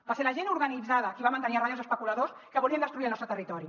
va ser la gent organitzada qui va mantenir a ratlla els especuladors que volien destruir el nostre territori